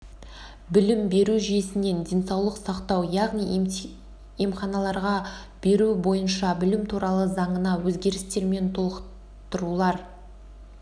білім беру жүйесінен денсаулық сақтау яғни емханаларға беру бойынша білім туралы заңына өзгерістер мен толықтырулар